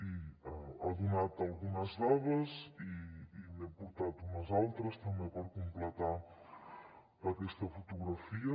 i ha donat algunes dades i n’he portat unes altres també per completar aquesta fotografia